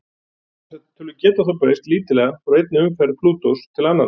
Þessar tölur geta þó breyst lítillega frá einni umferð Plútós til annarrar.